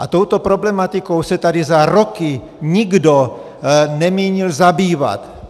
A touto problematikou se tady za roky nikdo nemínil zabývat.